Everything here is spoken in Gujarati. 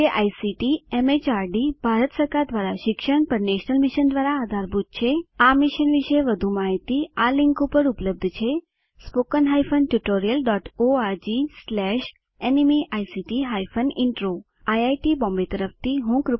જે આઇસીટી એમએચઆરડી ભારત સરકાર દ્વારા શિક્ષણ પર નેશનલ મિશન દ્વારા આધારભૂત છે આ મિશન વિશે વધુ માહીતી આ લીંક ઉપર ઉપલબ્ધ છે httpspoken tutorialorgNMEICT Intro IIT Bombay તરફથી ભાષાંતર કરનાર હું કૃપાલી પરમાર વિદાય લઉં છું